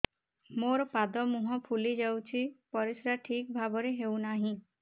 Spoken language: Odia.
ମୋର ପାଦ ମୁହଁ ଫୁଲି ଯାଉଛି ପରିସ୍ରା ଠିକ୍ ଭାବରେ ହେଉନାହିଁ